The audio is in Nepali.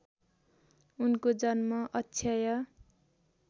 उनको जन्म अक्षय